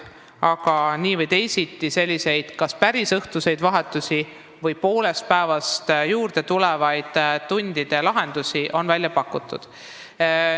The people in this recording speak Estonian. Aga nii või teisiti on kas päris õhtust vahetust või poolest päevast juurde tulevaid tunde välja pakutud.